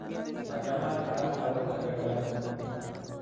machomon agas agot lembekta ngung